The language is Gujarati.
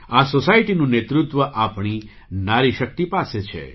આ સૉસાયટીનું નેતૃત્વ આપણી નારીશક્તિ પાસે છે